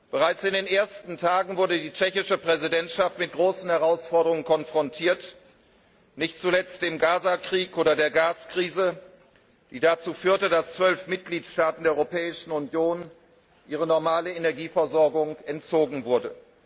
Bereits in den ersten Tagen wurde die tschechische Präsidentschaft mit großen Herausforderungen konfrontiert, nicht zuletzt dem Gaza Krieg oder der Gaskrise, die dazu führte, dass 12 Mitgliedstaaten der Europäischen Union ihre normale Energieversorgung entzogen wurde.